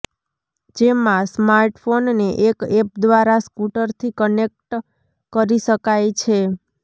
જેમાં સ્માર્ટફોનને એક એપ દ્વારા સ્કૂટરથી કનેક્ટ કરી શકાઈ છે